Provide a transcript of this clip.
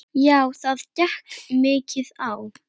Já það gekk mikið á.